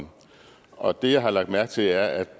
år og det jeg har lagt mærke til er at